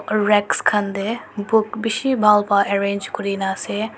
racks kan de book bishi bhal ba arrange kurina ase.